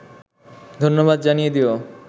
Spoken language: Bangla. ধন্যবাদ জানিয়ে দিয়ো